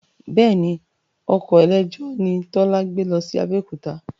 Bẹ́ẹ̀ni, ọkọ̀ eléjò ni Tọ́lá gbé lọ sí Abẹ́òkúta